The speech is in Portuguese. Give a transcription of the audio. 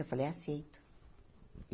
Eu falei, aceito.